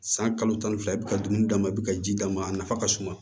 San kalo tan ni fila i bɛ ka dumuni d'a ma i bɛ ka ji d'a ma a nafa ka suma